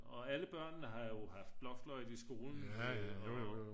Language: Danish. og alle børnene har jo haft blokfløjte i skolen og